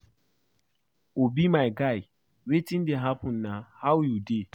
Obi my guy wetin dey happen na? How you dey?